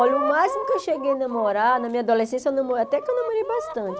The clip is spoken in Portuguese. Olha, o máximo que eu cheguei a namorar, na minha adolescência, eu namore até que eu namorei bastante.